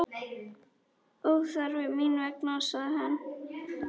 Óþarfi mín vegna, sagði hann.